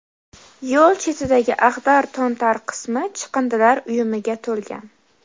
Yo‘l chetidagi ag‘dar-to‘ntar qismi chiqindilar uyumiga to‘lgan.